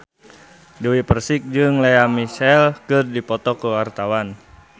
Dewi Persik jeung Lea Michele keur dipoto ku wartawan